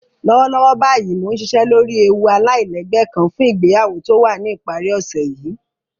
Lọ́wọ́lọ́wọ́ báyìí mó nsìṣẹ́ lọ́rí èwú aláìlẹ́gbẹ̀ kán fún ìgbèyàwó tó wà ní ipàrí òṣè yìí